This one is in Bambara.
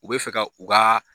U b bɛ fɛ ka u ka